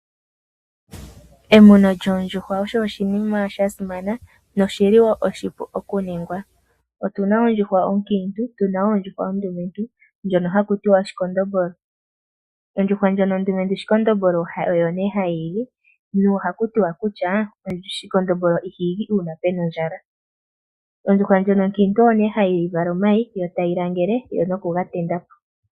Emuno lyoondjuhwa osho oshinima sha simana noshi li woo oshipu okuningwa. Otu na ondjuhwa onkiintu, tu na ondjuhwa ondumentu ndjono haku tiwa , oshikondombolo. Ondjuhwa ndjono ondumentu shikondombolo oyo nee hayi igi, nohaku tiwa kutya, shikondombolo iha igi uuna pe na ondjala. Ondjuhwa ndjono onkiintu oyo nee hayi vala omayi, yo tayi ga langele nokuga tendula po.